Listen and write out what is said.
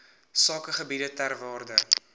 sakegebiede ter waarde